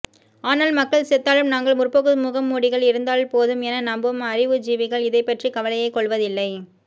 ஆனால் மக்கள் செத்தாலும் தங்கள் முற்போக்கு முகமூடிகள் இருந்தால்போதும் என நம்பும் அறிவுஜீவிகள் இதைப்பற்றி கவலையே கொள்வதில்லை